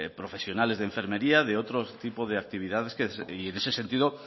profesionales de enfermería de otro tipo de actividades y en ese sentido